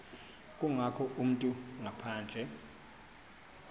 kangako umntu ngaphandle